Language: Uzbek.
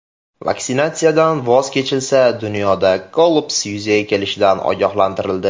Vaksinatsiyadan voz kechilsa, dunyoda kollaps yuzaga kelishidan ogohlantirildi.